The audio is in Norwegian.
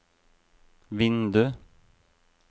vindu